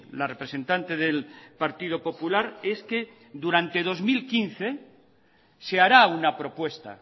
la representante del partido popular es que durante dos mil quince se hará una propuesta